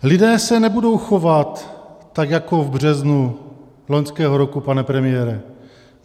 Lidé se nebudou chovat tak jako v březnu loňského roku, pane premiére.